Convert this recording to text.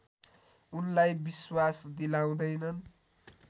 उनलाई विश्वास दिलाउँदैनन्